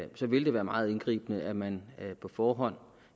det vil være meget indgribende at man på forhånd